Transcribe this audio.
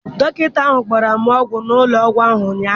Dọkịta ahụ gbara m ọgwụ n'ụlọ ọgwụ ụnyaahụ.